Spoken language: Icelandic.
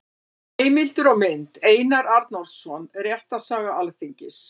Heimildir og mynd: Einar Arnórsson: Réttarsaga Alþingis.